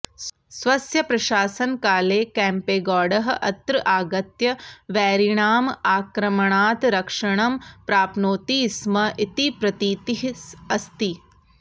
स्वस्य प्रशासनकाले केम्पेगौडः अत्र आगत्य वैरिणाम् आक्रमणात् रक्षणं प्राप्नोति स्म इति प्रतीतिः अस्ति